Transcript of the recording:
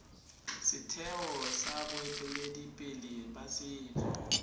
setheo sa boeteledipele ba setso